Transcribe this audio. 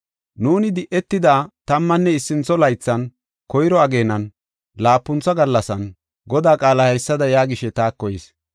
Nuuni di7etida tammanne issintho laythan, koyro ageenan, laapuntha gallasan, Godaa qaalay haysada yaagishe taako yis.